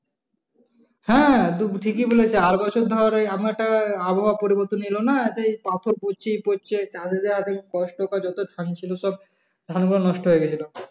হ্যাঁ তুমি ঠিকি বলেছো। আর বছর ধর এই আমারটা আবহাওয়া পরিবর্তনের এলো না সেই পাথর কুচি পড়ছে যত ধান ছিল সব, ধানগুলো নষ্ট হয়ে গেছিল।